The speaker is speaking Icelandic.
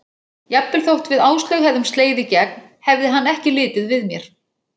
Jafnvel þótt við Áslaug hefðum slegið í gegn hefði hann ekki litið við mér.